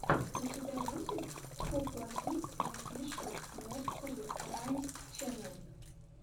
у тебя будет хупла кидс офишэл нерсери раймс ченнел